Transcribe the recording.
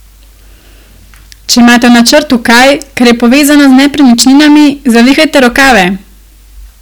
Če imate v načrtu kaj, kar je povezano z nepremičninami, zavihajte rokave!